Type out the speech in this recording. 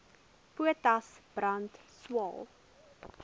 potas brand swael